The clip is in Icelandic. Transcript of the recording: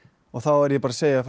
og þá er ég bara að segja frá